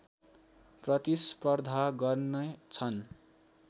प्रतिस्पर्धा गर्नेछन्